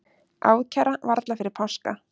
Ákæra varla fyrir páska